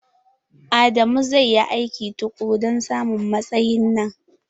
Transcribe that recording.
Adamu zai yi aiki tukuru don samun matsayin nan.